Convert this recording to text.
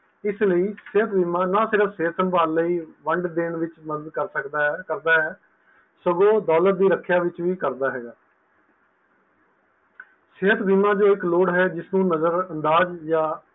ਇਸ ਲਈ ਸਿਹਤ ਬੀਮਾ ਨਾ ਸਿਰਫ ਸਿਹਤ ਸੰਭਾਲ ਲਈ fund ਦੇਣ ਵਿਚ ਮੱਦਦ ਕਰ ਸਕਦਾ ਕਰਦਾ ਹੈ ਸਗੋਂ ਦੌਲਤ ਦੀ ਰੱਖਿਆ ਵਿਚ ਵੀ ਕਰਦਾ ਹੈਗਾ ਸਿਹਤ ਜੋ ਇੱਕ ਲੋੜ ਹੈ ਜਿਸਨੂੰ ਨਜ਼ਰ ਅੰਦਾਜ਼ ਜਾ